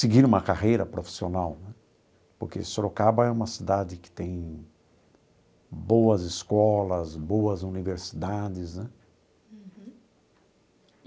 seguir uma carreira profissional né, porque Sorocaba é uma cidade que tem boas escolas, boas universidades, né? Uhum.